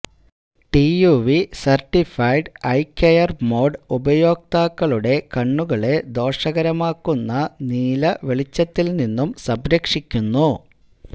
TUV certified eye care mode ഉപയോക്താക്കളുടെ കണ്ണുകളെ ദോഷകരമാകുന്ന നീല വെളിച്ചത്തില് നിന്നും സംരക്ഷിക്കുന്നു